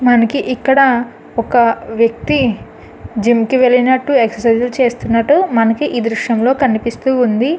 మనకి ఇక్కడ ఒక వేక్తి జిమ్ కి వెళ్లినట్టు ఎక్సర్సిస్ లు చేస్తున్నటు మనకి ఈ దృశ్యంలో కనిపిస్తూ ఉంది.